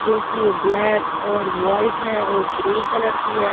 जो कि ब्लैक और व्हाईट है और ग्रे कलर की है।